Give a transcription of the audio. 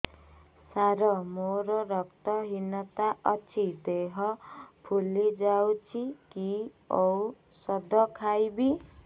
ସାର ମୋର ରକ୍ତ ହିନତା ଅଛି ଦେହ ଫୁଲି ଯାଉଛି କି ଓଷଦ ଖାଇବି